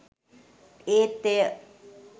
ඒත් එය